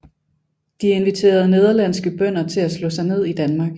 De inviterede nederlandske bønder til at slå sig ned i Danmark